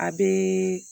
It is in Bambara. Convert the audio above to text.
A bɛ